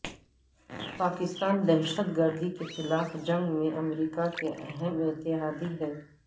پاکستان دہشت گردی کے خلاف جنگ میں امریکہ کے اہم اتحادی ہے